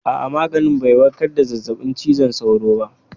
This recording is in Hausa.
A'a, maganin bai warkar da zazzabin cizon sauro ba.